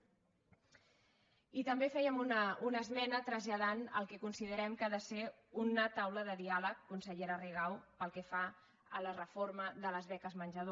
i també fèiem una esmena traslladant el que considerem que ha de ser una taula de diàleg consellera rigau pel que fa a la reforma de les beques menjador